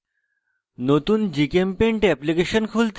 নতুন gchempaint application খুলতে